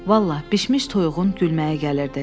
Vallahi, bişmiş toyuğun gülməyi gəlirdi.